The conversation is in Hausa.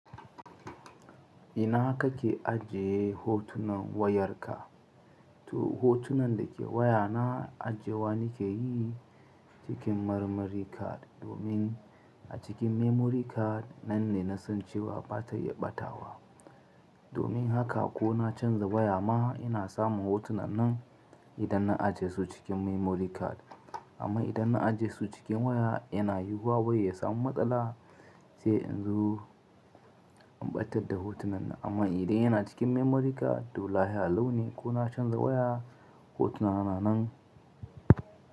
Ina kake ajiye hotunan wayarka? Toh hotunan da ke waya na ajewa nike yi cikin memory card domin a cikin memory card nan ne na san cewa ba ta iya batawa. Domin haka ko na canza waya ma ina samun hotunan nan idan na ajiye su cikin memory card. Amma idan na ajiye su cikin waya yana yiwuwa waya ya samu matsala sai in zo in batar da hotunan nan. Amma idan yana cikin memory card to lafiya lau ne ko na canza waya hotuna na nanan.